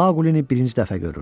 Maqulini birinci dəfə görürdü.